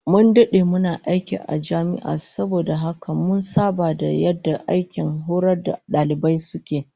Mun dade muna aiki a jami'a don haka mun saba da yadda aikin horar da dalibai suke